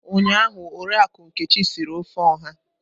Ụnyaahụ Oriakụ Nkechi siri ofe Oha.